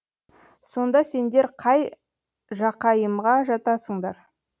сонда сендер қай жақайымға жатасыңдар